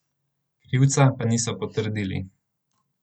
Krivca pa niso potrdili.